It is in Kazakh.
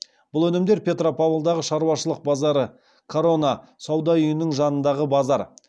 бұл өнімдер петропавлдағы шаруашылық базары корона сауда үйінің жанындағы базар